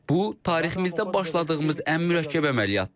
Bu tariximizdə başladığımız ən mürəkkəb əməliyyatdır.